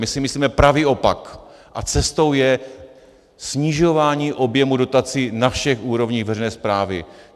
My si myslíme pravý opak a cestou je snižování objemu dotací na všech úrovních veřejné správy.